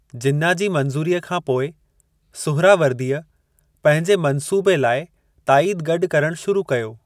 जिन्ना जी मंज़ूरीअ खां पोइ, सुहरावर्दीअ पंहिंजे मंसूबे लाइ ताईद गॾु करणु शुरू कयो।